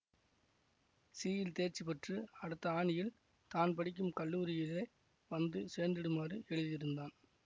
C யில் தேர்ச்சி பெற்று அடுத்த ஆனியில் தான் படிக்கும் கல்லூரியிலே வந்து சேர்ந்திடுமாறு எழுதியிருந்தான்